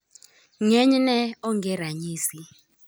Ng'enyne onge ranyisi